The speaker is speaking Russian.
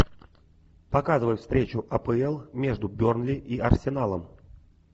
показывай встречу апл между бернли и арсеналом